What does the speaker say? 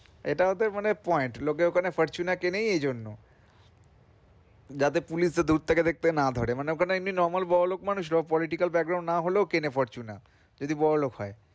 এটা ওদের মানে point লোকে ওখানে fortuner কেনেই এই জন্যে যাতে police দূর থেকে দেখতে না ধরে মানে ওখানে এমনি normal বড়োলোক মানুষরা political না হলেও কেনে ফরচুনা যদি বড়োলোক হয়।